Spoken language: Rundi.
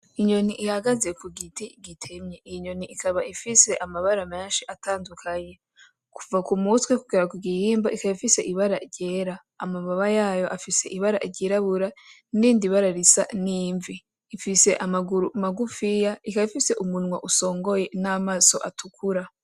Inyoni ihagaze ku giti gitemye, iyo nyoni ikaba ifise amabara menshi atandukanye .Kuva ku mutwe kugera ku gihimba ikaba ifise ibara ryera, amababa yayo afise ibara ryirabura niyindi bara risa n'imvi. Ifise amaguru matoya ikaba ifise umunwa usongoye n'amaso atukura.